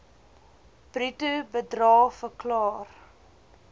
bruto bedrae verklaar